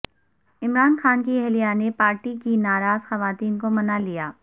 عمران خان کی اہلیہ نے پارٹی کی ناراض خواتین کو منالیا